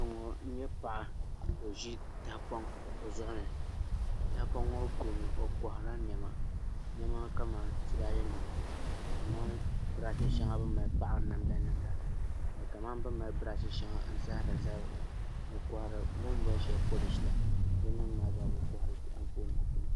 N nyɛ paɣa ka o ʒi tahapoŋ o zuɣu ni tahapoŋ ŋo puuni o koharila niɛma niɛma kamani tulaalɛ nima kamani birash shɛŋa bi ni mali paɣari namda nim la kamani bini mali birash shɛŋa n sahari zabiri la bini boli shɛli polish la din nim maa zaa